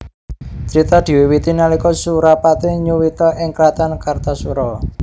Crita diwiwiti nalika Surapati nyuwita ing kraton Kartasura